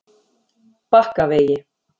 Bakkavegi